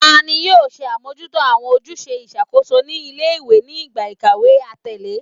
Tani yoo ṣe amojuto awọn ojuse iṣakoso ni ile-iwe ni igba ikawe atẹle?